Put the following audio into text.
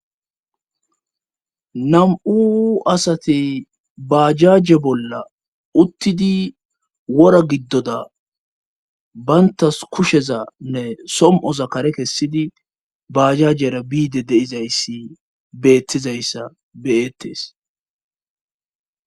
Nam'u asati baajaje bolla uttidi wora giddoda bayntas kusheza nne som7o zakare kessidi baajajera biide deizayssi beettizayssa beyettes